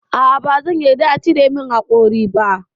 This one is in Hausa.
A'a bazan yarda a cire min haƙori ba.